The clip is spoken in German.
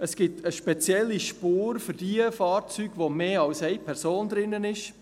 Es gibt eine spezielle Spur für jene Fahrzeuge, in denen mehr als eine Person drin ist.